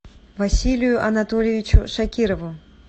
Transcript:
василию анатольевичу шакирову